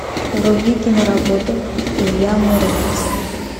вруби киноработу илья муромец